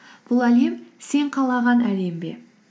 бұл әлем сен қалаған әлем бе